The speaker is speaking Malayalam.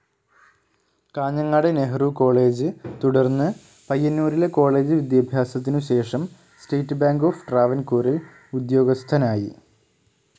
കാഞ്ഞങ്ങാട് നെഹ്‌റു കോളേജ്‌ തുടർന്ന് പയ്യന്നൂരിലെ കോളേജ്‌ വിദ്യാഭ്യാസത്തിനുശേഷം സ്റ്റേറ്റ്‌ ബാങ്ക്‌ ഓഫ്‌ ട്രാവൻകൂറിൽ ഉദ്യോഗസ്ഥനായി.